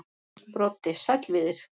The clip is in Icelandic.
Broddi: Sæll Víðir.